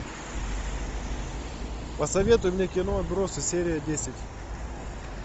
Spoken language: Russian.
посоветуй мне кино отбросы серия десять